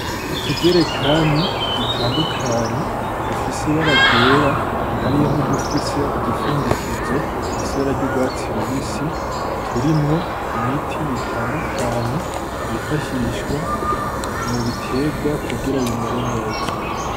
Utujerekani dutandukanye, dufise ibara ryera, hariyo n'udufise udupfundikizo dufise ibara ry'urwatsi rubisi, turimwo imiti itandukanye yifashishwa mu biterwa kugira bimere neza.